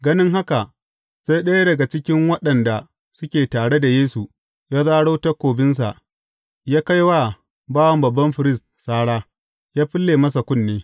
Ganin haka, sai ɗaya daga cikin waɗanda suke tare da Yesu, ya zaro takobinsa ya kai wa bawan babban firist sara, ya fille masa kunne.